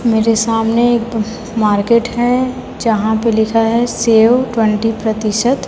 मेरे सामने एक मार्केट हैं जहाॅं पे लिखा है सेव ट्वेंटी प्रतिशत।